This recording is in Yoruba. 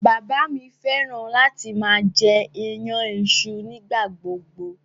Bàbá mi fẹ́ràn láti máa jẹ iyan iṣu nígbà gbogbo.